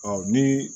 ni